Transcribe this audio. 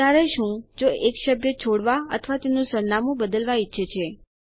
ત્યારે શું જો એક સભ્ય છોડવા અથવા તેનું સરનામું બદલવા ઈચ્છે છે